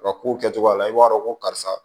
Ka kow kɛcogoya la i b'a dɔn ko karisa